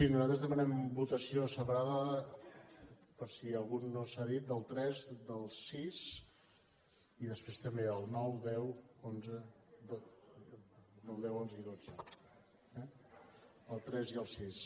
nosaltres demanem votació separada per si algun no s’ha dit del tres del sis i després també nou deu onze i dotze eh el tres i el sis